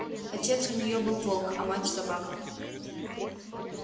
отец у нее был волк а мать собака